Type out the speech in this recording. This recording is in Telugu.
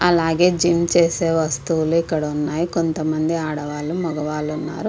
అలాగే జిమ్ చేసే వస్తువులు ఇక్కడ ఉన్నాయి. కొంతమంది ఆడవాళ్లు మగవాళ్ళు ఉన్నారు.